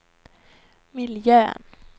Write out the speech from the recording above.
miljön